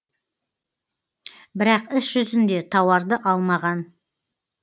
бірақ іс жүзінде тауарды алмаған